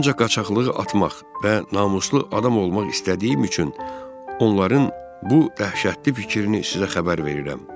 Ancaq qaçqaqlığı atmaq və namuslu adam olmaq istədiyim üçün onların bu dəhşətli fikrini sizə xəbər verirəm.